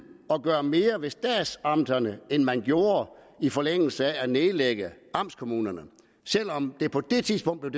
at gøre mere ved statsamterne end det man gjorde i forlængelse af at nedlægge amtskommunerne selv om det på det tidspunkt